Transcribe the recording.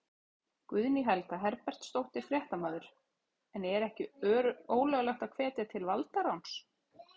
Guðný Helga Herbertsdóttir, fréttamaður: En er ekki ólöglegt að hvetja til valdaráns?